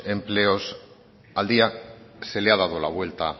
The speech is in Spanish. empleos al día se le ha dado la vuelta